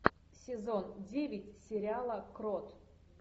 сезон девять сериала крот